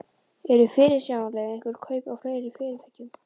Eru fyrirsjáanleg einhver kaup á fleiri fyrirtækjum?